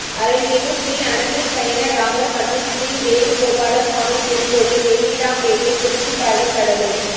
அருள்மிகு ஸ்ரீ அனந்தசயனராமர் மற்றும் ஸ்ரீவேணு கோபாலஸ்வாமி திருக்கோயில் வேங்கிடாம்பேட்டை குறிஞ்சிப்பாடி கடலூர்